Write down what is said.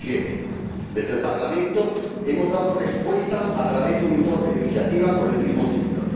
2007. Desde el Parlamento hemos dado respuesta a través de un informe de iniciativa con el mismo título.